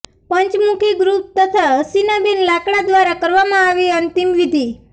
પંચમુખી group તથા હસીનાબેન લાડકા દ્વારા કરવામાં આવી અંતિમવિધિ